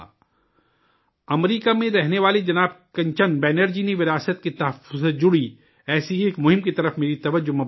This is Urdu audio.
امریکہ میں رہنے والے جناب کنچن بنرجی نے وراثت کے تحفظ سے جڑی ایسی ہی ایک مہم کی طرف میری توجہ مبذول کرائی ہے